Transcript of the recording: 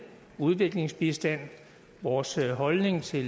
udviklingsbistand vores holdning til